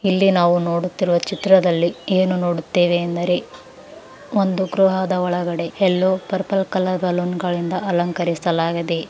ಇಲ್ಲಿ ನಾವು ನೋಡುತ್ತಿರುವ ಚಿತ್ರದಲ್ಲಿ ಏನು ನೋಡುತ್ತೆವೆ ಎಂದರೇ ಒಂದು ಗೃಹದ ಒಳಗಡೆ ಎಲ್ಲೋ ಪರ್ಪಲ್ ಕಲರ್ ಬಲೂನ್ ಗಳಿಂದ ಅಲಂಕರಿಸಲಾಗಿದೆ.